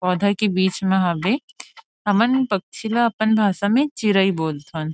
पौधा के बीच में हवे हमन पक्षी ला अपन भाषा में चिरई बोलथन।